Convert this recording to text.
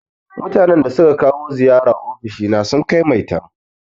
Mutanan da suka kawo ziyara ofishina sun kai maitan.